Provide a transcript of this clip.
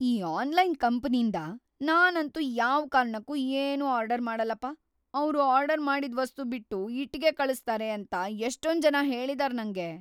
ಈ ಆನ್ಲೈನ್‌ ಕಂಪನಿಂದ ನಾನಂತೂ ಯಾವ್‌ ಕಾರ್ಣಕ್ಕೂ ಏನೂ ಆರ್ಡರ್‌ ಮಾಡಲ್ಲಪ, ಅವ್ರು ಆರ್ಡರ್‌ ಮಾಡಿದ್‌ ವಸ್ತು ಬಿಟ್ಟು ಇಟ್ಟಿಗೆ ಕಳ್ಸ್ತಾರೆ ಅಂತ ಎಷ್ಟೊಂಜನ ಹೇಳಿದಾರ್ ನಂಗೆ.